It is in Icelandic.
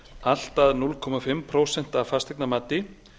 allt að hálft prósent af fasteignamati